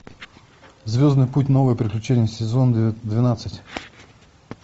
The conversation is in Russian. звездный путь новые приключения сезон двенадцать